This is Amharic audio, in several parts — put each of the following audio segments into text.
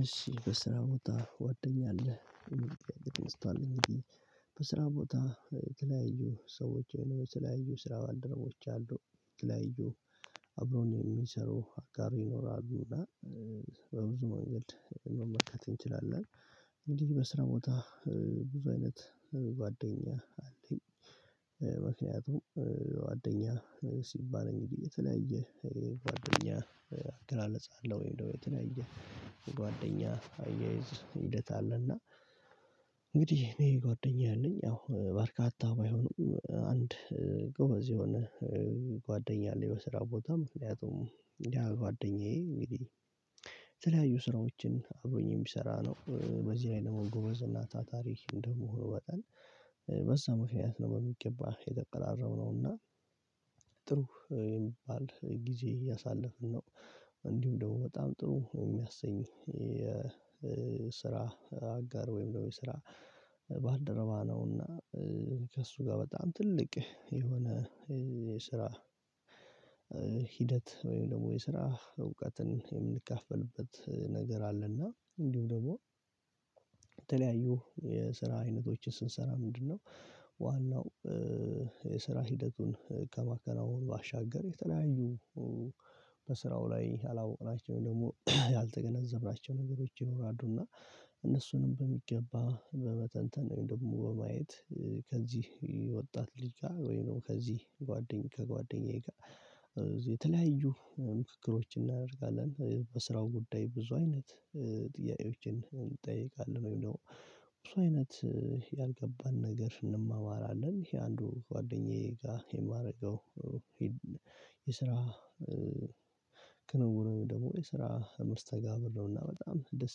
እሺ፤ "በስራ ቦታ ጓደኛ አለህ?" የሚል ጥያቄ ተነስቷል እንግዲህ። በስራ ቦታ የተለያዩ ሰዎች ወይም የተለያዩ ስራ ባልደረቦች አሉ። የተለያዩ አብረውን የሚሰሩ አጋር ይኖራሉ። እና በብዙ መንገድ መመልከት እንችላለን። እንግዲህ በስራ ቦታ ብዙ አይነት ጓደኛ አለኝ። ምክንያቱም ጓደኛ ሲባል እንግዲህ የተለያየ ጓደኛ ቅገላለጽ አለ፤ ወይም ደግሞ የተለያየ የጓደኛ አያይዝ ሂደት አለ። እና እንግዲህ እኔ ጓደኛ ያለኝ ያው በርካታ ባይሆኑም፤ አንድ ጎበዝ የሆነ ጓደኛ አለኝ በስራ ቦታ። ምክኛቱም ያ ጓደኛዬ እንግዲህ የተለያዩ ስራዎችን አብሮኝ የሚሰራ ነው። በዚህ ላይ ደግሞ ጎበዝ እና ታታሪ እንደመሆኑ መጠን፤ በዛ ምክንያት ነው በሚገባ የተቀራረብነው። እና የሚባል ጊዜ እያሳለፍን ነው። እንዲሁ ደግሞ በጣም ጥሩ የሚያሰኝ የስራ አጋር ወይም ደግሞ የስራ ባልደረባ ነው። እና ከእሱ ጋር በጣም ትልቅ የሆነ የስራ ሂደት ወይም ደግሞ የስራ እውቀትን የምንካፈልበት ነገር አለ። እና እንዲሁም ደግሞ የተለያዩ የስራ አይነቶችን ስንሰራ ምንድነው ዋናው የስራ ሂደቱን ከማከናወን ባሻገር የተለያዩ በስራው ላይ ያላወቅናቸውን ደግሞ ያልተገነዘብናቸው ነገሮች ይኖራሉ። እና እነሱንም በሚገባ በመተንተን ወይም ደግሞ በማየት ከዚህ ወጣት ልጅ ጋር ወይም ደግሞ ከዚህ ጓደኛዬ ከጓደኛዬ ጋር የተለያዩ ምክክሮችን እናደርጋለን በስራው ጉዳይ ብዙ አይነት ጥያቄዎችን እንጠያየቃለን፤ ወይም ደግሞ ብዙ አይነት ያልገባን ነገር እንማማራለን። ይሄ አንዱ ጓደኛዬ ጋር የማደርገው የስራ ክንውን ወይም ደግሞ የስራ መስተጋብር ነው። እና በጣም ደስ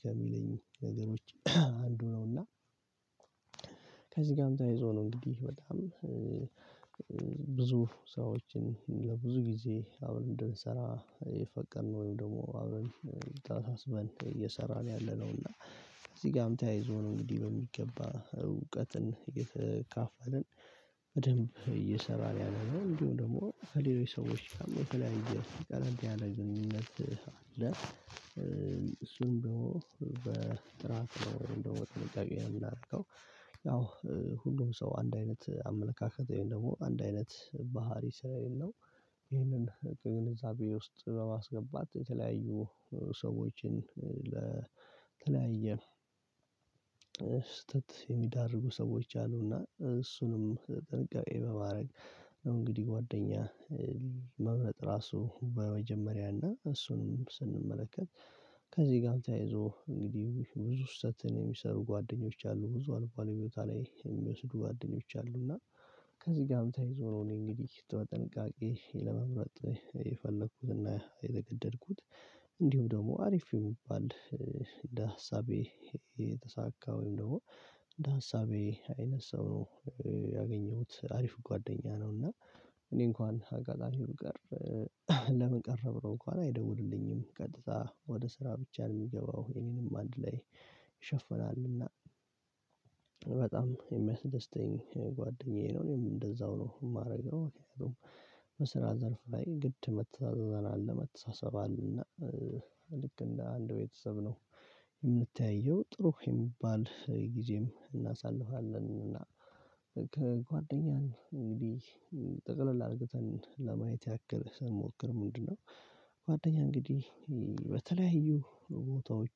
ከሚለኝ ነገሮች አንዱ ነው። እና ከዚህ ጋርም ተያይዞ ነው እንግዲህ በጣም ብዙ ሰዎችን ለብዙ ጊዜ አብረን እንድንሰራ የፈቀድነው፤ ወይም ደግሞ አብረን ተሳስበን እየሰራን ያለነው። እና ከዚህ ጋርም ተያይዞ ነው እንግዲህ በሚገባ እውቀትን እየተካፈልን በደንብ እየሰራን ያለነው። እንዲሁም ደግሞ ከሌሎች ሰዎች ጋርም የተለያዩ ቀለል ያለ ግንኙነት አለ። እሱም ደግሞ በጥራት ነው፤ ወይም ደግሞ በጥንቃቄ ነው የምናደርገው ያው ሁሉም ሰው አንድ አይነት አመለካከት ወይም ደግሞ አንድ አይነት ባህሪ ስለሌለው ይህንን ከግንዛቤ ውስጥ በማስገባት የተለያዩ ሰዎችን ለተለያየ ስህተት የሚዳርጉ ሰዎች አሉ። እና እሱንም ጥንቃቄ በማድረግ ነው እንግዲህ ጓደኛ መምረጥ ራሱ በመጀመሪያ እና እሱንም ስንመለከት ከዚህ ጋርም ተያይዞ እንግዲህ ብዙ ስህተትን የሚሰሩ ጓደኞች አሉ። ብዙ አልባሌ ቦት ላይ የሚወስዱ ጓደኞች አሉ። እና ከዚህ ጋርም ተያይዞ ነው እኔ እንግዲህ ተ ጥንቃቄ ለመምረጥ የፈለኩትና የተገደድኩት። እንዲሁም ደግሞ አሪፍ የሚባል እንደ ሀሳቤ የተሳካ ወይም ደግሞ እንደ ሀሳቤ አይነት ሰው ነው ያገኘሁት አሪፍ ጓደኛ ነው እና እኔ እንኳን አጋጣሚ ብቀር ለምን ቀረህ ብሎ እንኳን አይደውልልኝም። ቀጥታ ወደ ስራ ብቻ የሚገባው የኔንም አንድ ላይ ይሸፍናል። እና በጣም የሚያስደስተኝ ጓደኛዬ ነው። እኔም እንደዛው ነው የማደርገው። በስራ ዘርፍ ላይ ግድ መተዛዘን አለ መተሳሰብ አለ። እና ልክ እንደ አንድ ቤተሰብ ነው የምንተያየው። ጥሩ የሚባል ጊዜም እናሳልፋለን እና ከጓደኛን እንግዲህ ጠቅለል አርግተን ለማየት ያክል ስንሞክር ምንድነው ጓደኛ እንግዲህ በተለያዩ ቦታዎች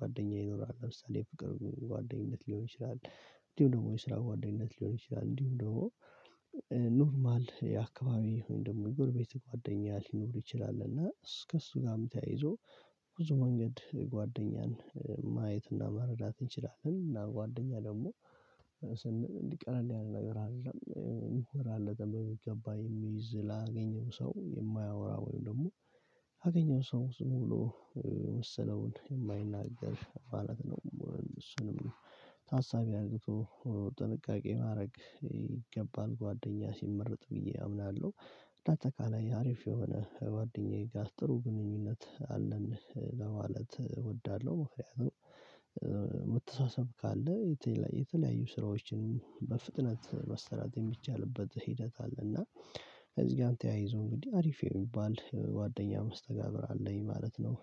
ጓደኛ ይኖራል ለምሳሌ ፍቅር ጓደኝነት ሊሆን ይችላል፤ እንዲሁም ደግሞ የስራ ጓደኝነት ሊሆን ይችላል፤ እንዲሁም ደግሞ ኖርማል የአካባቢ ወይም ደግሞ የጎረቤት ጓደኛ ሊኖር ይችላል። እና እስ ከእሱ ጋርም ተያይዞ ብዙ መንገድ ጓደኛን ማየት እና መረዳት እንችላለን። እና ጓደኛ ደግሞ ስን ቀላል ያለ ነገር አይደለም። ራሃለገን በሚገባ የሚይዝ ላገኘው ሰው የማያወራ ወይም ደግሞ ላገኘው ሰው ዝም ብሎ የመሰለውን የማይናገር ማለት ነው። እሱንም ታሳቢ አርግቶ ጥንቃቄ ማድረግ ይገባል ጓደኛ ሲመረጥ ብዬ አምናለሁ። እንዳጠቃላይ አሪፍ የሆነ ከጓደኛዬ ጋር ጥሩ ግንኙነት አለን ለማለት እወዳለሁ። ማሪያ ነው መተሳሰብ ካለ የተለያዩ ስራዎችንም በፍጥነት መስራት የሚቻልበት ሂደት አለ። እና ከዚህ ጋም ተያይዞ እንግዲህ አሪፍ የሚባል ጓደኛ መስተጋብር አለኝ ማለት ነው።